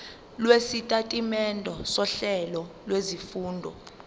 lwesitatimende sohlelo lwezifundo